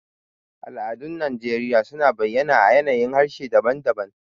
Al'adun Najeriya suna bayyana a yanayin harshe daban-daban.